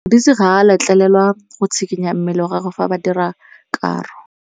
Modise ga a letlelelwa go tshikinya mmele wa gagwe fa ba dira karô.